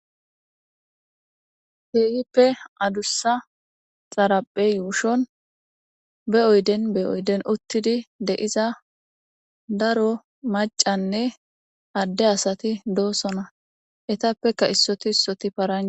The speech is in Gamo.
Keehippe adussa xaraphe yuushon be oyden be oyden uttidi de7iza daro maccanne adde asati doosona etappeka issoti issoti paranja